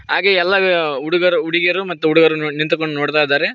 ಹಾಗೆ ಎಲ್ಲಾ ಹುಡುಗರು ಹುಡುಗಿಯರು ಮತ್ತು ಹುಡುಗರು ನಿಂತುಕೊಂಡು ನೋಡ್ತಾಯಿದರೆ.